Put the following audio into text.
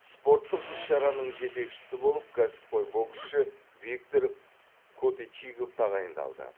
спорттық іс шараның жетекшісі болып кәсіпқой боксшы виктор коточигов тағайындалды